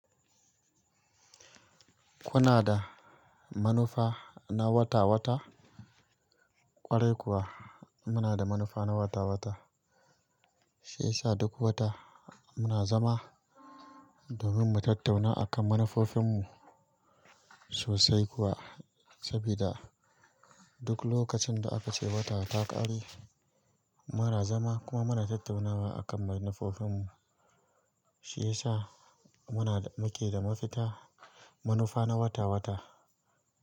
Kuna da manufa na wata-wata? Ƙwarai kuwa, muna da manufa na wata-wata. Shi ya sa duk wata muna zama domin mu tattauna akan manufofinmu sosai kuwa. Sabida duk lokacin da aka ce wata ta ƙare, muna zama kuma muna tattaunawa akan manufofinmu. Shi ya sa muna, muke da mafita, manufa na wata-wata.